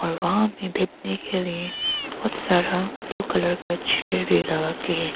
और वहां में बैठने के लिए बहुत सारा ब्लू कलर का चेयर भी लगा के हैं।